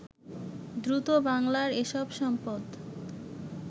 দ্রুত বাংলার এসব সম্পদ